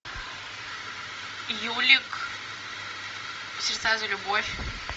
юлик сердца за любовь